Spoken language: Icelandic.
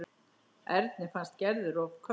Erni fannst Gerður of köld.